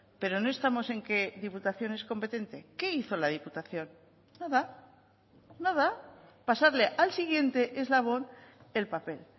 pero no estamos en que diputación es competente qué hizo la diputación nada nada pasarle al siguiente eslabón el papel